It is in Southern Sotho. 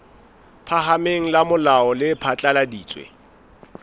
phahameng la molao le phatlaladitse